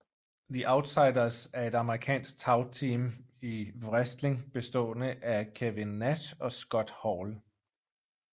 The Outsiders er et amerikansk tagteam i wrestling bestående af Kevin Nash og Scott Hall